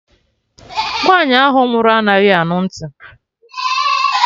Nwaanyi ahụ nwụrụ anaghị anụ ntị